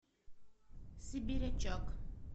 сибирячок